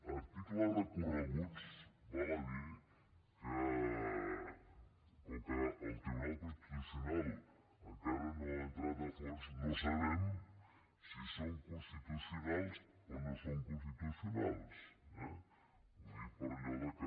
articles recorreguts val a dir ho que com que el tribunal constitucional encara no hi ha entrat a fons no sabem si són constitucionals o no són constitucionals eh ho dic per allò que